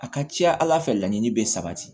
A ka ca ala fɛ laɲini bɛ sabati